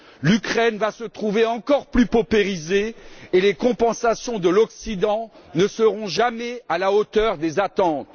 L'Ukraine va se trouver encore plus paupérisée et les compensations de l'Occident ne seront jamais à la hauteur des attentes.